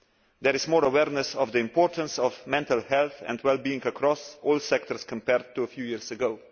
There is more awareness of the importance of mental health and wellbeing across all sectors, compared to a few years ago.